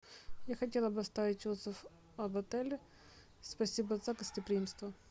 я хотела бы оставить отзыв об отеле спасибо за гостеприимство